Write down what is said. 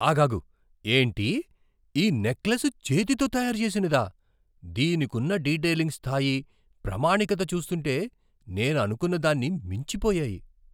ఆగాగు! ఏంటి ఈ నెక్లెస్ చేతితో తయారు చేసినదా? దీనికున్న డీటయిలింగ్ స్థాయి, ప్రామాణికత చూస్తుంటే నేను అనుకున్న దాన్ని మించిపోయాయి!